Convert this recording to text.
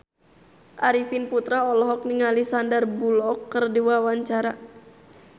Arifin Putra olohok ningali Sandar Bullock keur diwawancara